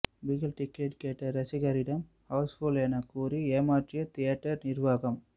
Bigil ticket கேட்ட ரசிகரிடம் house full என கூறி ஏமாற்றிய தியேட்டர் நிர்வாகம்